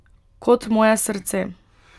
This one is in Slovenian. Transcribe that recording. Kot moje srce.